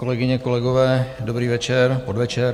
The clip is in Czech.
Kolegyně, kolegové, dobrý večer, podvečer.